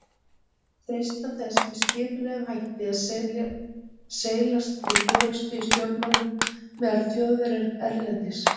freistað þess með skipulegum hætti að seilast til forystu í stjórnmálum meðal Þjóðverja erlendis.